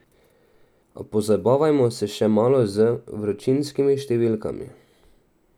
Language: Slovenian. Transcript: A pozabavajmo se še malo z vročinskimi številkami.